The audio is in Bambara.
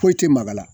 Foyi tɛ magala